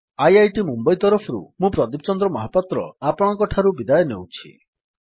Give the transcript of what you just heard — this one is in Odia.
ଆଇଆଇଟି ମୁମ୍ୱଇ ତରଫରୁ ମୁଁ ପ୍ରଦୀପ ଚନ୍ଦ୍ର ମହାପାତ୍ର ଆପଣଙ୍କଠାରୁ ବିଦାୟ ନେଉଛି